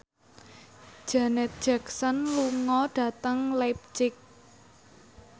Janet Jackson lunga dhateng leipzig